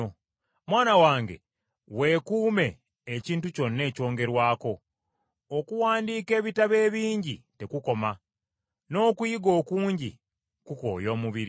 Mwana wange weekuume ekintu kyonna ekyongerwako. Okuwandiika ebitabo ebingi tekukoma, n’okuyiga okungi kukooya omubiri.